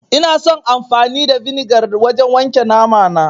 Ina son amfani da vinegar wajen wanke namana